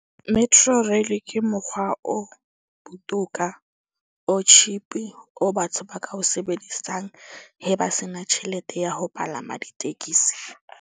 Metrorail ke mokgwa o botoka or cheap. O batho ba ka o sebedisang he ba se na tjhelete ya ho palama ditekesi.